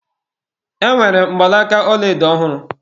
Enwere m mgbanaka ọlaedo ọhụrụ